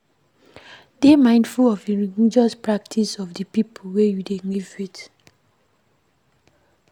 Dey mindful of di religious practice of di people wey you dey live with